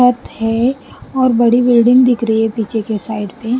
बहुत है और बड़ी बिल्डिंग दिख रही है पीछे के साइड पे--